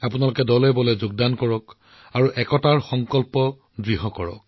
আপোনালোকেও ব্যাপক হাৰত যোগদান কৰি ঐক্যৰ সংকল্প শক্তিশালী কৰে